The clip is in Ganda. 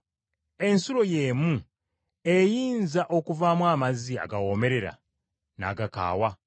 Ensulo y’emu eyinza okuvaamu amazzi agawoomerera n’agakaawa?